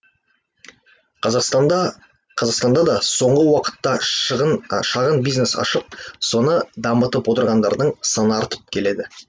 қазақстанда қазақстанда да соңғы уақытта шағын бизнес ашып соны дамытып отырғандардың саны артып келеді